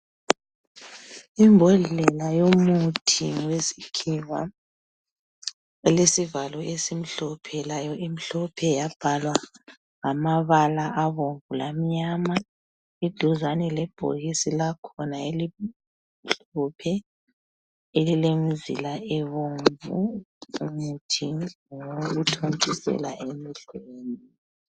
Imbodlela yomuthi wesikhiwa Elesivalo esimhlophe layo imhlophe yabhalwa ngamabala abomvu lamnyama iduzane lebhokisi lakhona elimhlophe elimizila ebomvu umuthi ngowokuthontisela emehlweni.